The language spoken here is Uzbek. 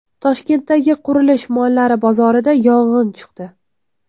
Toshkentdagi qurilish mollari bozorida yong‘in chiqdi.